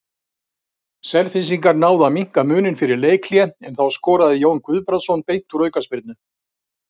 Selfyssingar náðu að minnka muninn fyrir leikhlé en þá skoraði Jón Guðbrandsson beint úr aukaspyrnu.